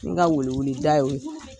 N ga welewele da y'o ye.